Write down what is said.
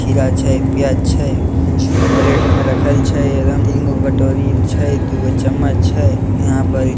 खीरा छै प्याज छै प्लैट में रखेल छै तीनगो कटोरी छै दुइ चम्मच छै इहाँ परी --